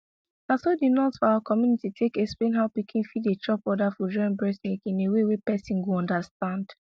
naso the nurse for our community take explain how pikin fit dey chop other food join breast milk in a way wey person go understand